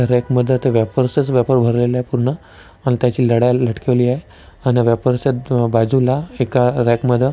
rack मध्ये ते wafers च वॅफर भरलेले पूर्ण अण त्याची लडा लटकवली आहे अण वेफर्स च्या बाजुला एका रॅक मध्ये--